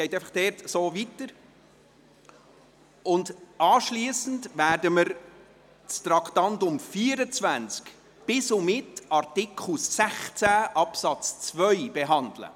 Anschliessend werden wir das Traktandum 24 bis und mit Artikel 16, Absatz 2 behandeln.